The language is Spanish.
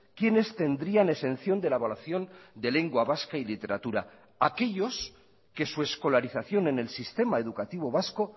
quiénes tendrían exención de la evaluación de lengua vasca y literatura aquellos que su escolarización en el sistema educativo vasco